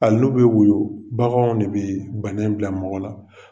Ai n'o bɛ wuyɔ bagan de bɛ bana in bila mɔgɔ la